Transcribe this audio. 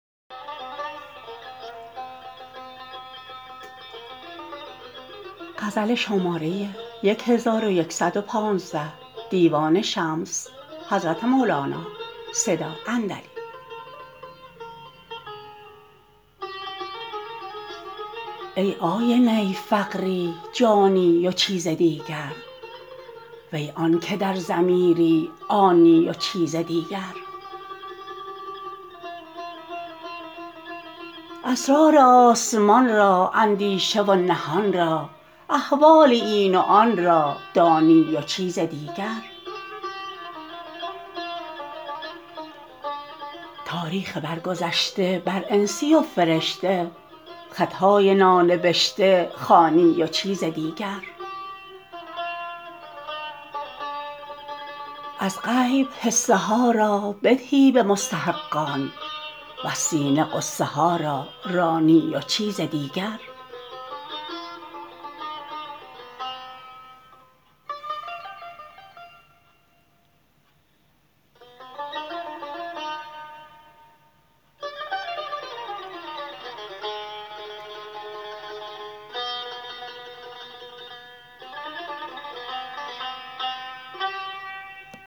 ای آینه فقیری جانی و چیز دیگر وی آنک در ضمیری آنی و چیز دیگر اسرار آسمان را اندیشه و نهان را احوال این و آن را دانی و چیز دیگر تاریخ برگذشته بر انسی و فرشته خط های نانبشته خوانی و چیز دیگر از غیب حصه ها را بدهی به مستحقان وز سینه غصه ها را رانی و چیز دیگر